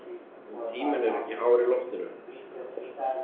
En tíminn er ekki hár í loftinu.